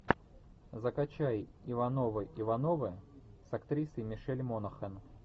закачай ивановы ивановы с актрисой мишель монахэн